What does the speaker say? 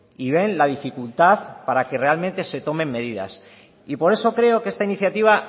y ven la dificultad para que realmente se tomen medidas y por eso creo que esta iniciativa